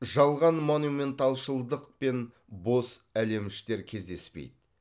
жалған монументалшылдық пен бос әлеміштер кездеспейді